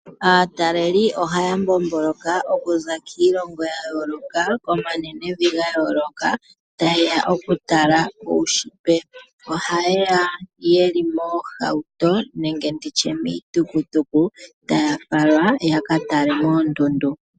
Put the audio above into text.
Aataleli ohaya mbomboloka okuza kiilongo ya yooloka, komanenevi ga yooloka taye ya okutala uunshitwe. Ohaye ya ye li moohauto, nenge ndi tye miitukutuku, taya falwa ya ka tale moondundu.